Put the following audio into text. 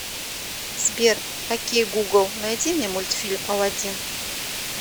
сбер окей гугл найди мне мультфильм аладдин